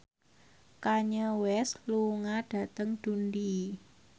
Kanye West lunga dhateng Dundee